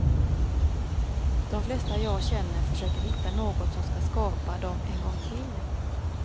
De flesta jag känner försöker hitta något som ska skapa dem en gång till.